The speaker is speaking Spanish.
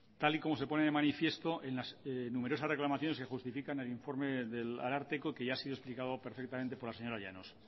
tal y como se pone de manifiesto en las numerosas reclamaciones que justifican el informe del ararteko que ya ha sido explicado perfectamente por la señora llanos